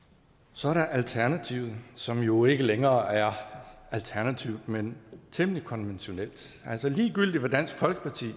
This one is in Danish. så er der alternativet som jo ikke længere er alternativt men temmelig konventionelt altså ligegyldigt hvad dansk folkeparti